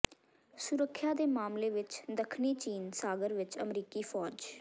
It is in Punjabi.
ਸੁਰੱਖਿਆ ਦੇ ਮਾਮਲੇ ਵਿਚ ਦੱਖਣੀ ਚੀਨ ਸਾਗਰ ਵਿਚ ਅਮਰੀਕੀ ਫੌਜ